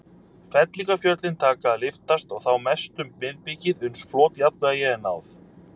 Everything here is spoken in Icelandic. Fellingafjöllin taka að lyftast, og þá mest um miðbikið, uns flotjafnvægi er náð.